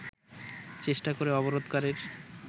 চেষ্টা করে অবরোধকারীর